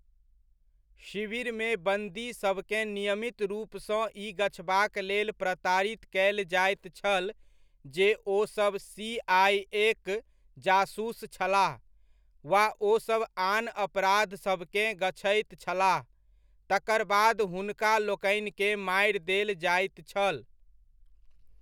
शिविरमे बन्दी सभकेँ नियमित रूपसँ ई गछबाक लेल प्रताड़ित कयल जाइत छल जे ओसब सी.आइ.ए.'क जासूस छलाह, वा ओसभ आन अपराधसभकेँ गछैत छलाह, तकर बाद हुनका लोकनिकेँ मारि देल जाइत छल।